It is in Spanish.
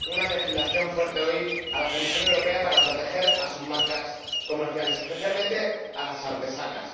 legislación fuerte a la Comisión Europea para proteger las marcas comerciales, especialmente las artesanas.